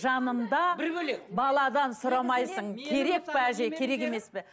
жанында бір бөлек баладан сұрамайсың керек пе әже керек емес пе